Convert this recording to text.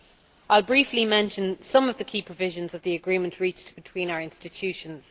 I will briefly mention some of the key provisions of the agreement reached between our institutions.